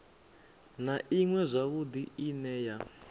na iṅwe zwavhudi ine ya